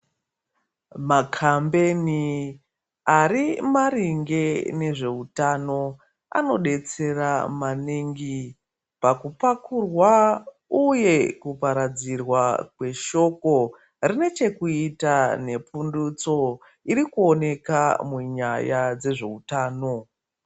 Makambeni Ari maringe nezvehutano anodetsera maningi pakupakurwa uye kugadzirwa kweshoko dine chekuita nepundutso iri kuoneka munyaya dzezve hutano.